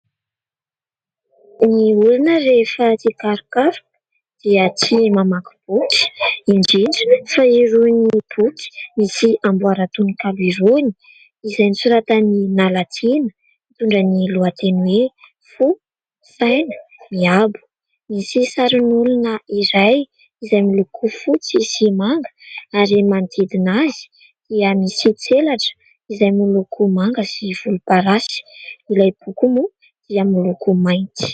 Ny olona rehefa tia karokaroka dia tia mamaky boky, indrindra fa irony boky misy amboaran-tononkalo irony izay nosoratan'i Nala Tiana, mitondra ny lohateny hoe : "Fo, saina miabo". Misy sarin'olona iray izay miloko fotsy sy manga ary manodidina azy dia misy tselatra izay miloko manga sy volomparasy. Ilay boky moa dia miloko mainty.